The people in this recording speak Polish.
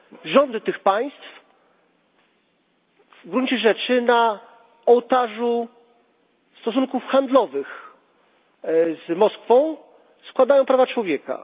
Rządy tych państw w gruncie rzeczy na ołtarzu stosunków handlowych z Moskwą składają prawa człowieka.